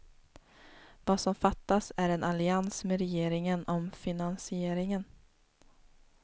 Vad som fattas är en allians med regeringen om finansieringen.